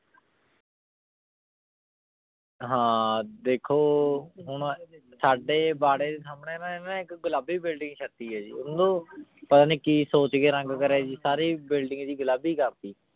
ਹਾਂ ਦੇਖੋ ਹੁਣ ਸਾਡੇ ਬਾਰੇ ਸੰਨੀ ਨਾ ਹੁਣ ਗੁਲਾਬੀ ਬੁਇਲ੍ਡਿੰਗ ਛਾਤੀ ਆਯ ਜੀ ਓਨੁ ਪਤਾ ਨਾਈ ਕੀ ਸੋਚ ਕੇ ਰੰਗ ਕਾਰ੍ਯ ਜੀ ਸਾਰੀ building ਜੀ ਗੁਲਾਬੀ ਕਰਤੀ